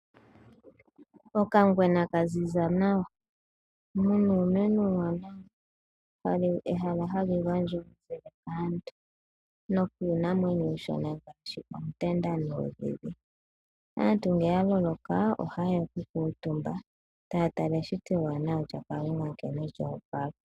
Okangwena ka ziza nawa, mu na uumeno uuwanawa. Ehala hali gondjwa kaantu nokiinamwenyo iishona ngaashi oontenda nuudhidhi. Aantu ngele ya loloka, ohaye ya okukuutumba taya tala eshito ewanawa lyaKalunga nkene lya opala.